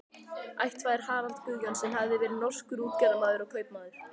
Ættfaðirinn Harald Guðjón- sen hafði verið norskur útgerðarmaður og kaupmaður.